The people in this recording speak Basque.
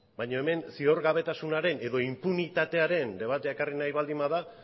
baina hemen zigorgabetasunaren edo inpunitatearen debatea ekarri nahi baldin bada